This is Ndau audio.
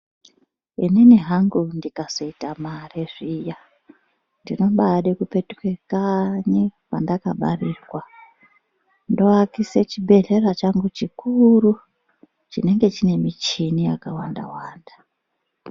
Inini hangu ndikazoita mare zviya ndinobaade kupetuka kanyi kwendakabarirwa ndoakise chibhedhlera changu chikuru chinenge chine michini yakawanda-wanda.